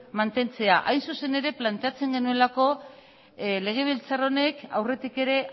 mantentzea hain zuzen ere planteatzen genuelako legebiltzar honek aurretik ere